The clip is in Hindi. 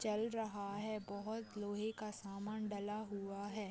चल रहा है। बहोत लोहे का सामान डाला हुआ है।